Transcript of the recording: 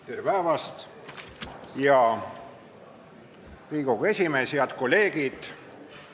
Tere päevast, hea Riigikogu esimees ja head kolleegid!